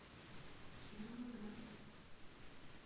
кировоград